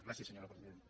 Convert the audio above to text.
gràcies senyora presidenta